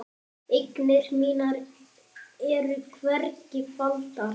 Eignir mínar eru hvergi faldar.